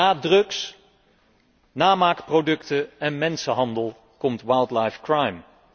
Na drugs, namaakproducten en mensenhandel komt wildlife crime